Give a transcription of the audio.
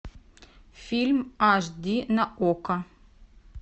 фильм аш ди на окко